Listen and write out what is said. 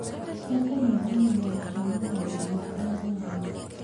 na kũnyihanyihia gũcemania na andũ arĩa arũaru.